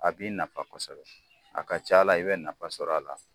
A b'i nafa kosɛbɛ a ka ca la, i bi nafa sɔrɔ a la.